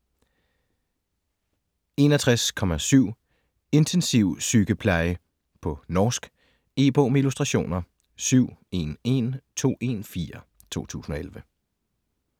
61.7 Intensivsykepleie På norsk. E-bog med illustrationer 711214 2011.